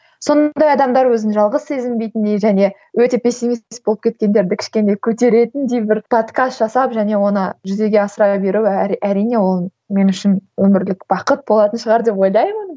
сондай адамдар өзін жалғыз сезінбейтіндей және өте пессимист болып кеткендерді кішкене көтеретіндей бір подкаст жасап және оны жүзеге асыра беру әрине ол мен үшін өмірлік бақыт болатын шығар деп ойлаймын